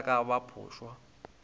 ge e ka ba phošwa